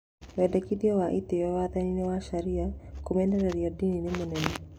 Wendikithia wa itĩo watho-ini wa Sharia kũmenereria dini nĩ mũnene